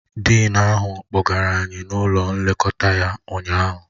Dịịn ahụ kpọgara anyị n'ụlọ nlekọta ya ụnyaahụ